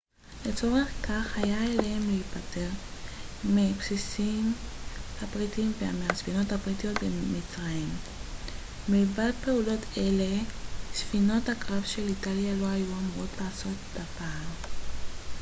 לצורך כך היה עליהם להיפטר מהבסיסים הבריטיים ומהספינות הבריטיות במצרים מלבד פעולות אלה ספינות הקרב של איטליה לא היו אמורות לעשות דבר